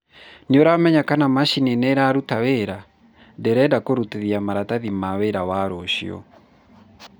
nĩũramenya kana macini nĩĩraruta wĩra? ndĩrenda kũrutithia maratathi ma wĩra wa rũcio